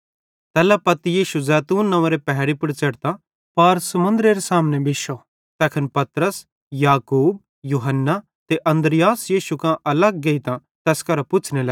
तैल्ला पत्ती यीशु जैतून नंव्वेरे पहैड़ी पुड़ च़ढ़ता पार मन्दरेरे सामने बिश्शो तैखन पतरस याकूब यूहन्ना ते अन्द्रियास यीशु कां अलग गेइतां तैस केरां पुछ़्ने लग्गे